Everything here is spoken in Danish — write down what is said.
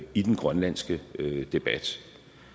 i den grønlandske debat